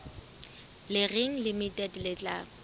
le reng limited le tla